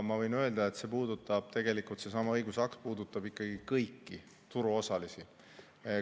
Ma võin öelda, et tegelikult seesama õigusakt puudutab ikkagi kõiki turuosalisi.